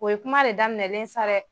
O ye kuma de daminɛlen ye sa dɛ.